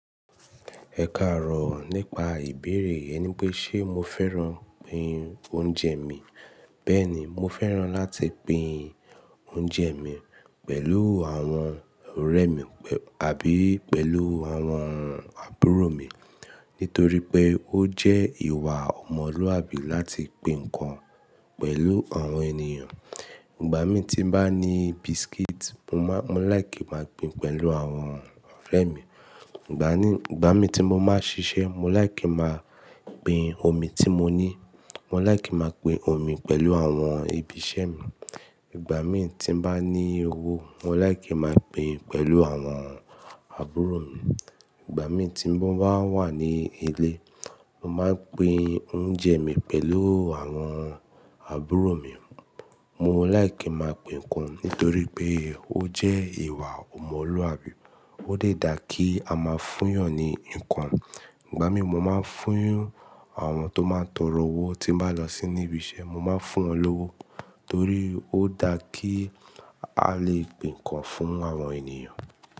Ẹ kààrọ̀ nípa ìbéèrè ẹni pé ṣe mo fẹ́ràn pín oúnjẹ mi. Bẹ́ẹ̀ni, mo fẹ́ràn láti pín oúnjẹ mi pẹ̀lú àwọn ọ̀rẹ́ mi àbí pẹ̀lú àwọn àbúrò mi nítorí pé ó jẹ́ ìwà ọmọlúàbí láti pín nǹkan pẹ̀lú àwọn ènìyàn. Ìgbà mí tí mo bá ní biscuit, mo láẹ̀kí máa pín pẹ̀lú àwọn ọ̀rẹ́ mi. Ìgbà mí ti mo máa ṣiṣẹ́, mo láẹ̀kí máa pín omí tí mo ní. Mo láẹ̀kí máa pín omí pẹ̀lú àwọn ibiṣẹ́ mi. Ìgbà mí ti bá ní owó, mo láẹ̀kí máa pín pẹ̀lú àwọn àbúrò mi. Ìgbà mí ti mo bá wà ní ilé, mo máa pín oúnjẹ mi pẹ̀lú àwọn àbúrò mi. Mo láẹ̀kí máa pín nǹkan nítorí pé ó jẹ́ ìwà ọmọlúàbí. Ó dẹ́ dà kí a má fúyàn ni nǹkan. Ìgbà mí mo máa fún àwọn tó máa ń tọrọ owó tí mo bá lọ sí ibiṣẹ́, mo máa fún wọn lówó nítorí ó dá kí a lè pín nǹkan fún àwọn ènìyàn.